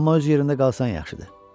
Amma öz yerində qalsan yaxşıdır.